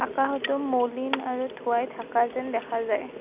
কাষতে মৌলিন আৰু ধোঁৱাই ঢাকা যেন দেখা যায়।